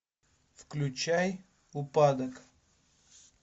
включай упадок